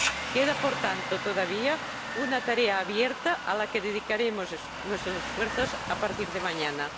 Queda, por tanto, todavía una tarea abierta, a la que dedicaremos nuestros esfuerzos a partir de mañana.